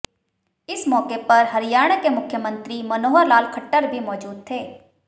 इस मौके पर हरियाणा के मुख्यमंत्री मनोहर लाल खट्टर भी मौजूद थे